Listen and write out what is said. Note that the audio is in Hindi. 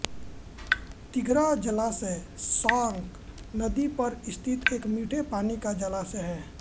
तिघरा जलाशय साँक नदी पर स्थित एक मीठे पानी का जलाशय है